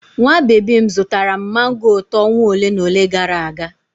Nwa baby m zụtara m mango ụtọ ọnwa ole na ole gara aga.